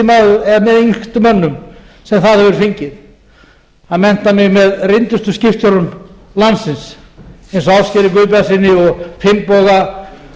með yngstu mönnum sem það hefur fengið að mennta mig með reyndustu skipstjórum landsins eins og ásgeiri